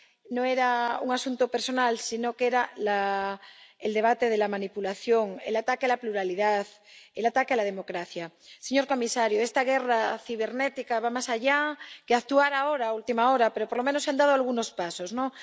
No era un asunto personal, sino que era el debate de la manipulación, el ataque a la pluralidad, el ataque a la democracia. Señor comisario, esta guerra cibernética va más allá de actuar ahora, a última hora, pero, por lo menos, se han dado algunos pasos, ¿no?